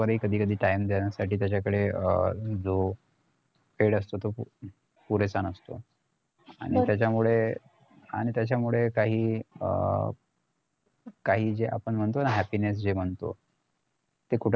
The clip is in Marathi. बरोबरही कधीकधी time देण्यासाठी त्याच्याकडे अं जो वेळ असतो तो पुरेसा नसतोआणि त्यामुळे आणि त्यामुळे काही अं काही जे आपण म्हणतो ना happiness जे म्हणतो ते कुठं ना कुठं